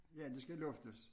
Ja det skal luftes